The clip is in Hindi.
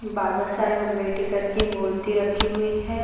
बाबा साहेब अम्बेडकर की मूर्ति रखी हुई है।